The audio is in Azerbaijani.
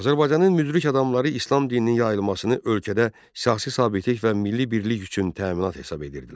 Azərbaycanın müdrik adamları İslam dininin yayılmasını ölkədə siyasi sabitlik və milli birlik üçün təminat hesab edirdilər.